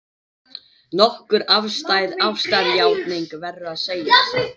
Nokkuð afstæð ástarjátning, verður að segjast.